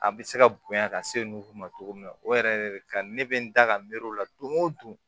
A bɛ se ka bonya ka se ma cogo min na o yɛrɛ de ka di ne bɛ n da ka miiri o la don go don